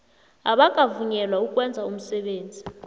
abakavunyelwa ukwenza umsebenzi